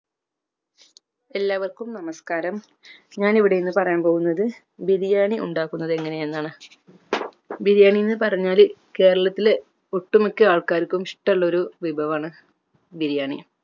എല്ലാവർക്കും നമസ്‌കാരം ഞാൻ ഇവിടെ ഇന്ന് പറയാൻ പോകുന്നത് ബിരിയാണി ഉണ്ടാക്കുന്നത് എങ്ങനെ എന്ന് ആണ് ബിരിയാണി എന്ന് പറഞ്ഞാൽ കേരളത്തിൽ ഒട്ടുമിക്യ ആൾകാർക്കും ഇഷ്ട്ടമുള്ള ഒരു വിഭവാണ് ബിരിയാണി